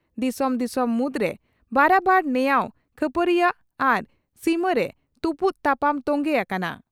ᱫᱤᱥᱚᱢ ᱫᱤᱥᱚᱢ ᱢᱩᱫᱽᱨᱮ ᱵᱟᱨᱟᱵᱟᱨ ᱱᱮᱭᱟᱣ ᱠᱷᱟᱹᱯᱟᱹᱨᱤᱭᱟᱹᱣ ᱟᱨ ᱥᱤᱢᱟᱹ ᱨᱮ ᱛᱩᱯᱩᱫ ᱛᱟᱯᱟᱢ ᱛᱚᱝᱜᱮ ᱟᱠᱟᱱᱟ ᱾